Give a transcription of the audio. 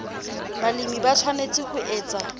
balemi ba tshwanetse ho etsa